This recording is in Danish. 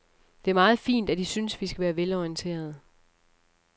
Det er meget fint, at I synes, vi skal være velorienterede.